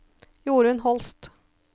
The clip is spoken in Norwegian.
Jorun Holst